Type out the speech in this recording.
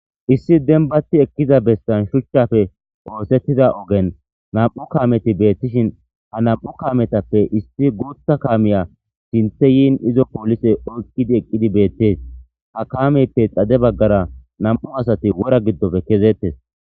Issi denbati ekkiza bestan shuchchafe oosettida ogen nam7u kameti beettishin ha nam7u kaametappe isti guutha kaamiya sinthe yiin izo poolise oykkidi eqqidi beettees ha kaameppe xade baggara nam7u asati wora giddofe kezeettes.